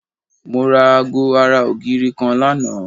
Mo ra aago ara ògiri kan lánàá